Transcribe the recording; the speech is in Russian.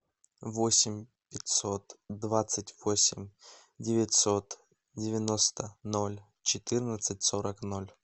восемь пятьсот двадцать восемь девятьсот девяносто ноль четырнадцать сорок ноль